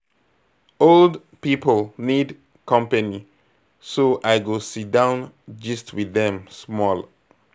Old people need company, so I go sit down gist with them small.